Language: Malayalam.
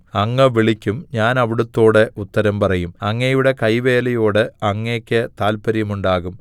അങ്ങ് വിളിക്കും ഞാൻ അവിടുത്തോട് ഉത്തരം പറയും അങ്ങയുടെ കൈവേലയോട് അങ്ങയ്ക്ക് താത്പര്യമുണ്ടാകും